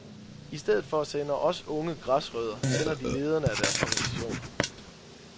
I stedet for at sende os unge græsrødder sender de lederne af deres organisationer.